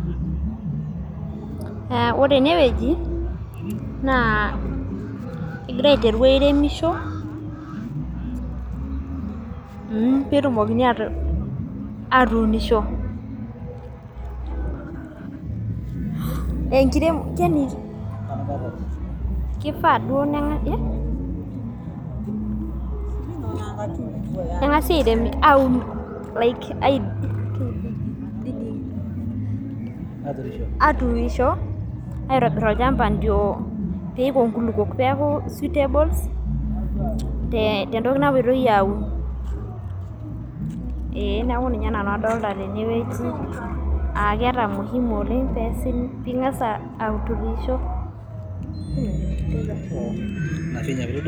Ore enewueji naa kegirae aiteru airemisho petumokini atuunisho ,kifaa nengasi aturisho aitobir olchamba pepuo nkulukuok ee neeta ninye nanu adolta tenewueji ingas aturisho.